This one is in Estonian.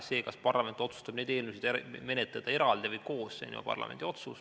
See, kas parlament otsustab neid eelnõusid menetleda eraldi või koos, on ju parlamendi otsus.